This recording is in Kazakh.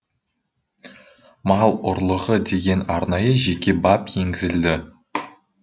мал ұрлығы деген арнайы жеке бап енгізілді